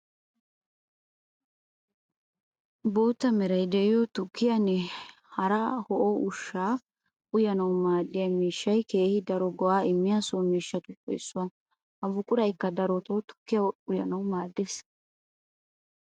Bootta meray de'iyo tukkiyanne hara ho'o ushsha uyanawu maadiya miishshay keehi daro go'a immiya so miishshatuppe issuwaa. Ha buqurayikka darotto tukkiya uyanawu maadees.